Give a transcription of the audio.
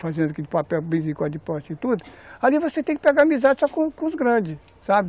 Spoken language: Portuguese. fazendo aqui de papel, bem dizer, quase de prostituta, ali você tem que pegar amizade só com os grandes, sabe?